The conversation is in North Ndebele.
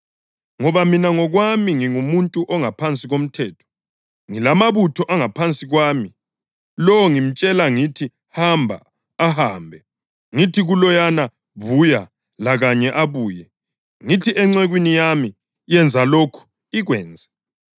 Ngoba mina ngokwami ngingumuntu ongaphansi komthetho, ngilamabutho angaphansi kwami. Lo ngimtshela ngithi, ‘Hamba,’ ahambe; ngithi kuloyana, ‘Buya,’ lakanye abuye. Ngithi encekwini yami, ‘Yenza lokhu,’ ikwenze.”